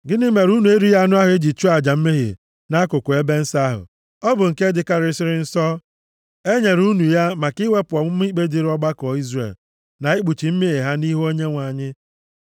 “Gịnị mere unu erighị anụ ahụ e ji chụọ aja mmehie nʼakụkụ ebe nsọ ahụ? Ọ bụ nke dịkarịsịrị nsọ; e nyere unu ya maka iwepụ ọmụma ikpe dịrị ọgbakọ Izrel, na ikpuchi mmehie ha nʼihu Onyenwe anyị.